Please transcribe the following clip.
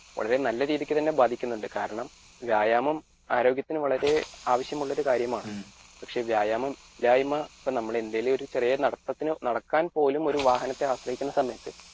വളരെ നല്ല രീതിക്ക് തന്നെ ബാധിക്കുന്നുണ്ട് കാരണം വ്യായാമം ആരോഗ്യത്തിന് വളരെ ആവശ്യമുള്ള ഒരു കാര്യമാണ് പക്ഷെ വ്യായാമം ഇല്ലായിമ നമ്മുടെ എന്തേലും ഒരു ചെറിയ നടത്തത്തിന്നടക്കാൻപോലും ഒരു വാഹനത്തെ ആശ്രയിക്കുന്ന